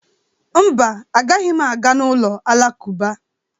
Mba, agaghị m aga n'ụlọ alakụba.